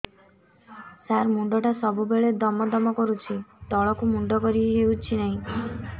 ସାର ମୁଣ୍ଡ ଟା ସବୁ ବେଳେ ଦମ ଦମ କରୁଛି ତଳକୁ ମୁଣ୍ଡ କରି ହେଉଛି ନାହିଁ